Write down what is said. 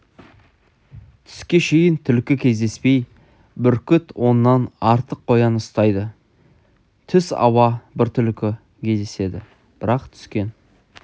түске шейін түлкі кездеспей бүркіт оннан артық қоян ұстайды түс ауа бір түлкі кездеседі бірақ түскен